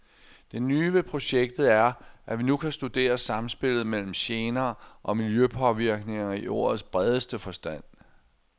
Det nye ved projektet er, at vi nu kan studere samspillet mellem gener og miljøpåvirkninger i ordets bredeste forstand.